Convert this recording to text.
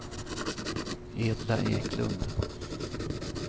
Edla Eklund